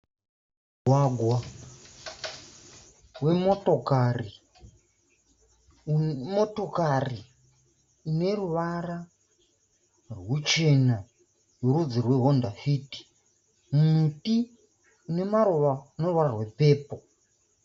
Mugwagwa wemotokari unemotokari ineruvara rwuchena rwerudzi rwehwonda fiti. Muti unemaruva ne ruvara rwepepuri.